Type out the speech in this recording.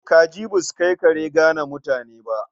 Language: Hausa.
Kaji ba su kai kare gane mutane ba.